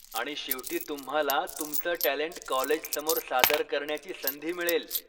आणि शेवटी तुम्हाला तुमचं टॅलेंट कॉलेजसमोर सादर करण्याची संधी मिळेल.